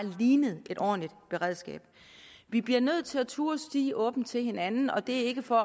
ligner et ordentligt beredskab vi bliver nødt til at turde sige åbent til hinanden og det er ikke for